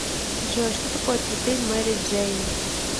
джой что такое цветы мэри джейн